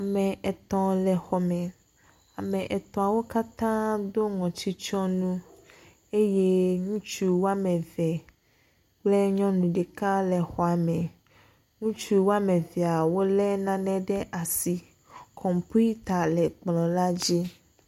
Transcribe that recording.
Ame etɔ̃ le xɔ me. Ame etɔ̃wo katã do ŋɔtitsɔnu eye ŋutsu wo ame eve kple nyɔnu ɖeka le xɔa me. ŋutsu wo ame evea wolé nane ɖe asi. Kɔmpita le kplɔ̃ la dzi.